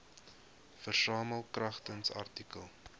versamel kragtens artikel